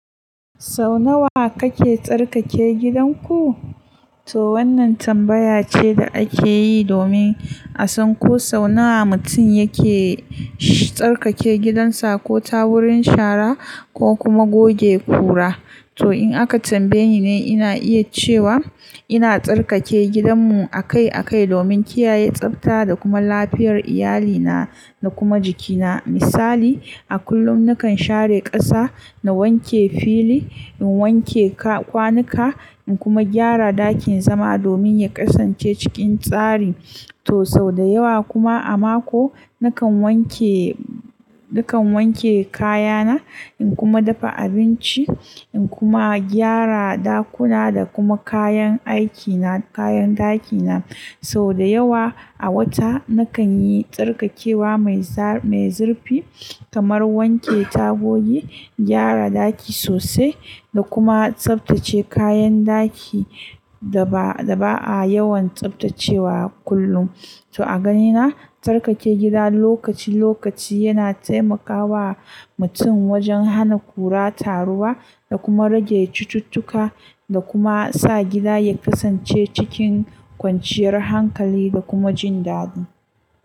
Sau nawa kake tsarkake gidanku? To wannan tambaya ce da ake yi domin a san ko sau nawa mutum yake tsarkake gidansa ko tawurin shara ko kuma goge kura. To in aka tambaye ni ne ina iya cewa ina tsarkake gidanmu akai-akai domin kiyaye tsafta da kuma lafiyar iyalina da kuma jikina. Misali, a kullum nakan share ƙasa, na wanke fili, in wanke kwanuka, in kuma gyara ɗakin zama domin ya kasance cikin tsari. To sau da yawa kuma a mako, nakan wanke, nakan wanke kayana, in kuma dafa abinci, in kuma gyara ɗakuna da kuma kayan aikina, kayan ɗakina. Sau da yawa a wata, nakan yi tsarkakewa mai zurfi kamar wanke tagogi, gyara ɗaki sosai da kuma tsaftace kayan ɗaki da ba a yawan tsaftacewa kullum. To a ganina, tsarkake gida lokaci-lokaci yana taimakawa mutum wajen hana kura taruwa da kuma rage cucuttuka da kuma sa gida ya kasance cikin kwanciyar hankali da kuma jin daɗi.